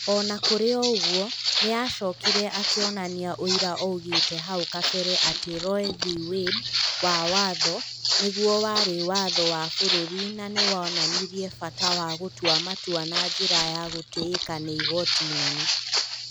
O na kũrĩ ũguo, nĩ aacokire akĩonania ũrĩa oigĩte hau kabere atĩ Roe v. Wade wa Wtho nĩguo warĩ "watho wa bũrũri", na nĩ wonanirie bata wa gũtua matua na njĩra ya gũtĩĩka nĩ Igooti Inene.